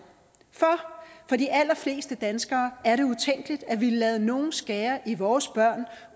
for for de allerfleste danskere er det utænkeligt at ville lade nogen skære i vores børn